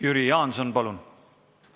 Jüri Jaanson, palun!